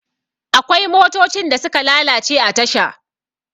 akwai motocin da suka lalace a tasha